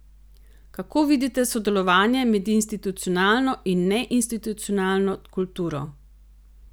Kako vidite sodelovanje med institucionalno in neinstitucionalno kulturo?